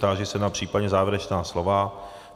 Táži se případně na závěrečná slova.